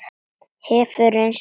Hefur reynst mjög vel.